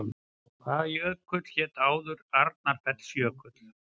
Hvaða jökull hét áður Arnarfellsjökull?